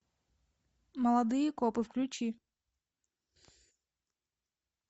молодые копы включи